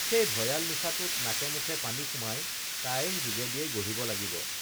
সেই ভয়াল নিশাটোত নাকে মুখে পানী সুমাই তাইৰ যোগেদিয়েই গঢ়িব লাগিব